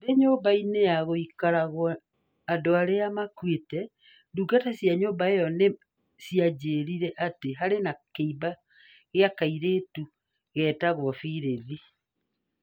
Ndĩ nyũmba-inĩ ya gũikaragwo andũ arĩa makuĩte, ndungata cia nyũmba ĩyo nĩ cianjĩrire atĩ harĩ na kĩimba kĩa kairĩtu getagwo Phylis.